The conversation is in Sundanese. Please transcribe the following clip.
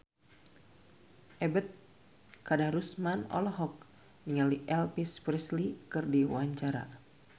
Ebet Kadarusman olohok ningali Elvis Presley keur diwawancara